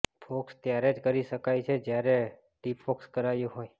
focus ત્યારે જ કરી શકાય છે જ્યારે ડિફોક્સ કરાયું હોય